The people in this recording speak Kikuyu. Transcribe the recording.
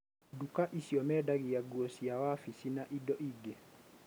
nduka icio mendagĩa ngũo cia wabici na indo ingĩ.